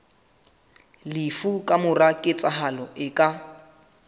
lefu kamora ketsahalo e ka